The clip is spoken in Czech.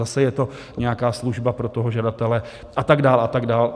Zase je to nějaká služba pro toho žadatele, a tak dále a tak dále.